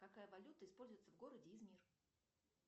какая валюта используется в городе измир